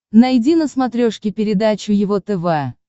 найди на смотрешке передачу его тв